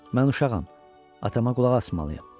Mən uşağam, atama qulaq asmalıyam.